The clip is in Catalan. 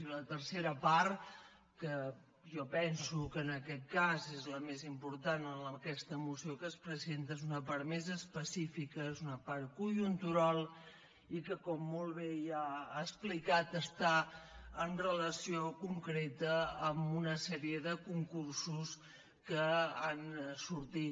i la tercera part que jo penso que en aquest cas és la més important en aquesta moció que es presenta és una part més específica és una part conjuntural i que com molt bé ja ha explicat està en relació concreta amb una sèrie de concursos que han sortit